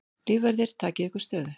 Lífverðir takið ykkur stöðu.